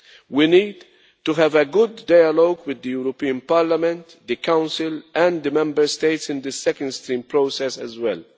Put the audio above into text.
We need to have a good dialog with the European Parliament, the Council and the Member States in the second stream process as well.